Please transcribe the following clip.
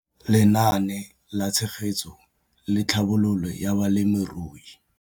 Lenaane la Tshegetso le Tlhabololo ya Balemirui.